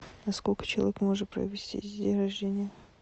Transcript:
на сколько человек можно провести день рождения